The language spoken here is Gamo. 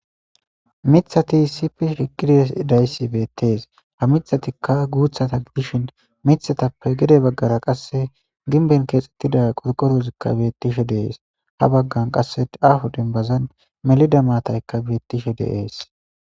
mithati sifish higide dayssi beettees ha mithatikka guuthata gidishin mithatappe gede baggara qasse ginben keexxettida qurqorozikka bettishe deees ha baggan qasse afu dinbazan melida maataykka beettishe deees